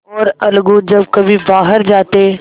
और अलगू जब कभी बाहर जाते